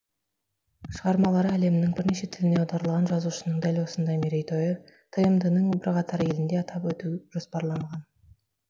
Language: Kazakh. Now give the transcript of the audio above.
шығармалары әлемнің бірнеше тіліне аударылған жазушының дәл осындай мерейтойы тмд ның бірқатар елінде атап өту жоспарланған